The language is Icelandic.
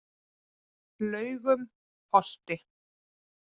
Laugum Holti